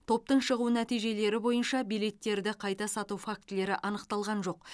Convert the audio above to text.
топтың шығу нәтижелері бойынша билеттерді қайта сату фактілері анықталған жоқ